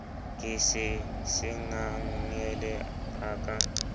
ke se sengangele a ka